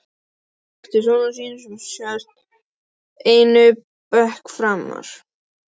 Hann gekk til sonar síns og settist einum bekk framar.